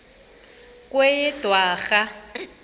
kweyedwarha